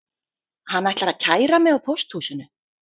Hann ætlar að kæra mig á pósthúsinu